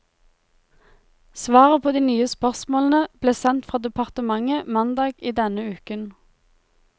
Svaret på de nye spørsmålene ble sendt fra departementet mandag i denne uken.